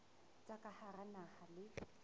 tsa ka hara naha le